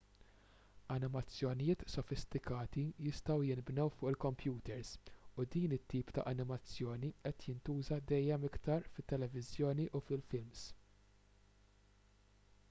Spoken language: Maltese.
animazzjonijiet sofistikati jistgħu jinbnew fuq il-kompjuters u din it-tip ta' animazzjoni qed jintuża dejjem iktar fit-televiżjoni u fil-films